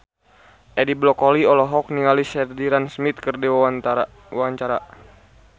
Edi Brokoli olohok ningali Sheridan Smith keur diwawancara